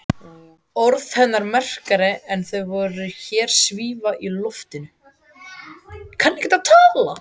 Orð hennar merkari en þau sem hér svífa í loftinu.